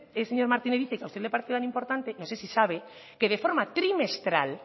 el señor martínez dice que a usted le parece tan importante no sé si sabe que de forma trimestral